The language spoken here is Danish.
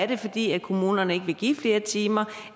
det er fordi kommunerne ikke vil give flere timer